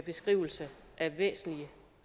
beskrivelse af væsentlige